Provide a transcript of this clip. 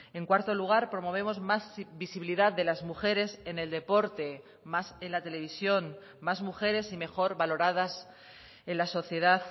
en cuarto lugar promovemos más visibilidad de las mujeres en el deporte más en la televisión más mujeres y mejor valoradas en la sociedad